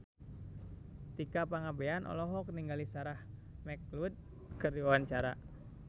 Tika Pangabean olohok ningali Sarah McLeod keur diwawancara